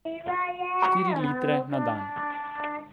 Štiri litre na dan.